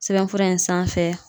Sɛbɛnfura in sanfɛ